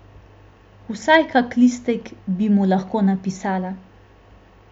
Vsaj kak listek bi mu lahko napisala.